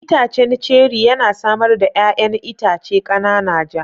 Itacen ceri yana samar da 'ya'yan itace kanana ja.